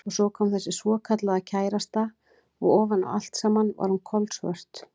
Og svo kom þessi svokallaða kærasta og ofan á allt saman var hún kolsvört.